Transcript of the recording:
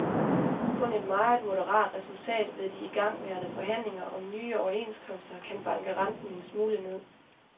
Kun et meget moderat resultat ved de igangværende forhandlinger om nye overenskomster kan banke renten en smule ned.